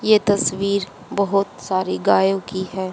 ये तस्वीर बहुत सारी गायों की है।